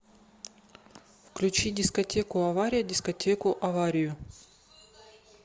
включи дискотеку авария дискотеку аварию